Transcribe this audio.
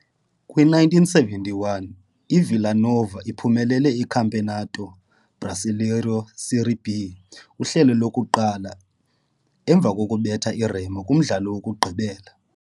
Kwi-1971, i-Villa Nova iphumelele i-Campeonato Brasileiro Série B uhlelo lokuqala, emva kokubetha i-Remo kumdlalo wokugqibela.